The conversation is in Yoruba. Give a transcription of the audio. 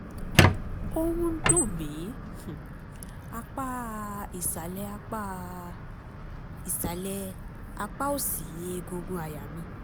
ó ń dùn mí ní um apá um ìsàlẹ̀ apá um ìsàlẹ̀ apá òsì egungun àyà mi